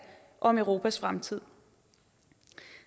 om europas fremtid